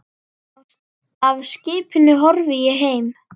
Af skipinu horfi ég heim.